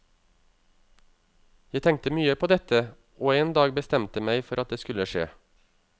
Jeg tenkte mye på dette og en dag bestemte meg for at det skulle skje.